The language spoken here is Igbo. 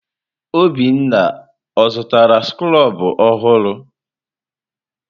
Obinna ọ zụtara skrobụ ọhụrụ?